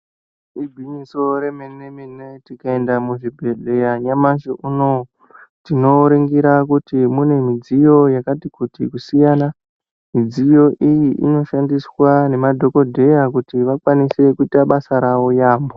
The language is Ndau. Igwinyiso remene mene tikaenda muzvibhedhlera nyamashi unowu tinoningira kuti mune mudziyo yakati kuti kusiyana mudziyo iyi inoshandiswa ngemadhokodheya kuti vakwanise kuita basa ravo yaambo.